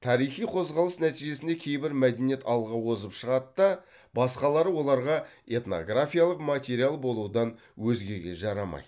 тарихи қозғалыс нәтижесінде кейбір мәдениет алға озып шығады да басқалары оларға этнографиялық материал болудан өзгеге жарамайды